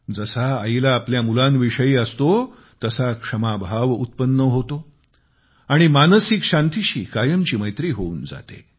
जसा आईला आपल्या मुलांविषयी असतो तसा क्षमाभाव उत्पन्न होतो आणि मानसिक शांतीशी कायमची मैत्री होऊन जाते